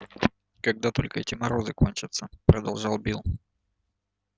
когда только эти морозы кончатся продолжал билл